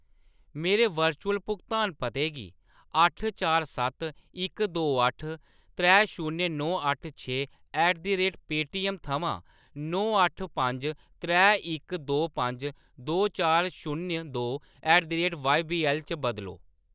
मेरे वर्चुअल भुगतान पते गी अट्ठ चार सत्त इक दो अट्ठ त्रै शून्य नौ अट्ठ छे ऐट द रेट पेऽटीएम थमां नौ अट्ठ पंज त्रै इक दो पंज दो चार शून्य दो ऐट द रेट जेबीएल च बदलो।